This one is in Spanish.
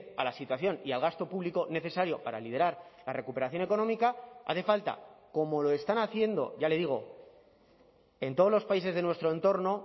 a la situación y al gasto público necesario para liderar la recuperación económica hace falta como lo están haciendo ya le digo en todos los países de nuestro entorno